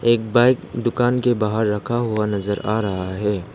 एक बाइक दुकान के बाहर रखा हुआ नजर आ रहा है।